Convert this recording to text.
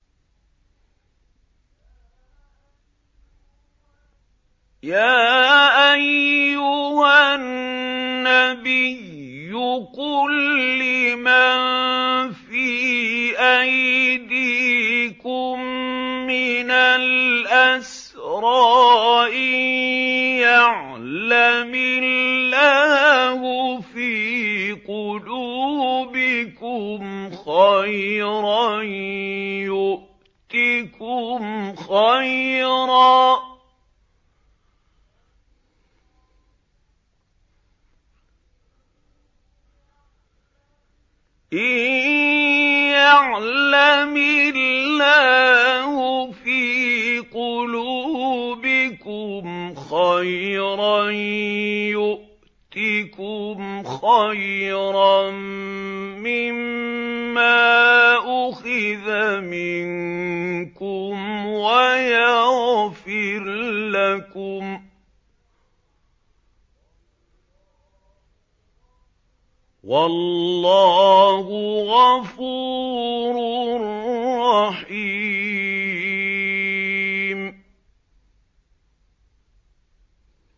يَا أَيُّهَا النَّبِيُّ قُل لِّمَن فِي أَيْدِيكُم مِّنَ الْأَسْرَىٰ إِن يَعْلَمِ اللَّهُ فِي قُلُوبِكُمْ خَيْرًا يُؤْتِكُمْ خَيْرًا مِّمَّا أُخِذَ مِنكُمْ وَيَغْفِرْ لَكُمْ ۗ وَاللَّهُ غَفُورٌ رَّحِيمٌ